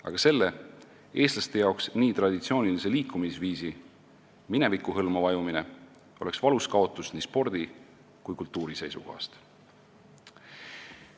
Aga selle eestlaste jaoks nii traditsioonilise liikumisviisi mineviku hõlma vajumine oleks valus kaotus nii spordi kui kultuuri seisukohast.